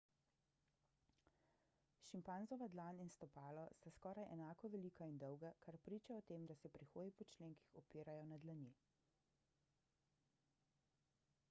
šimpanzova dlan in stopalo sta skoraj enako velika in dolga kar priča o tem da se pri hoji po členkih opirajo na dlani